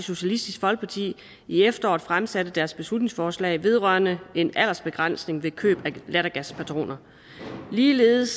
socialistisk folkeparti i efteråret fremsatte deres beslutningsforslag vedrørende en aldersegrænsning ved køb af lattergaspatroner ligeledes